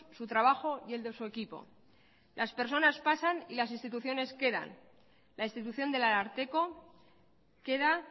su trabajo y el de su equipo las personas pasan y las instituciones quedan la institución del ararteko queda